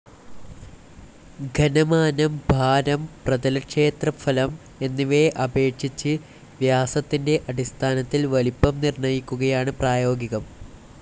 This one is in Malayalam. ഘനമാനം, ഭാരം, പ്രതലക്ഷേത്രഫലം എന്നിവയെ അപേക്ഷിച്ച് വ്യാസത്തിന്റെ അടിസ്ഥാനത്തിൽ വലിപ്പം നിർണയിക്കുകയാണ് പ്രായോഗികം.